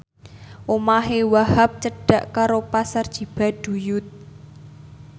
omahe Wahhab cedhak karo Pasar Cibaduyut